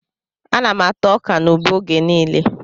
Ana m ata ọkà na ube oge niile